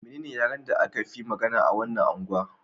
Menene yaren da aka fi magana a wannan angwa?